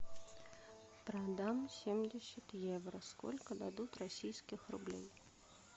продам семьдесят евро сколько дадут российских рублей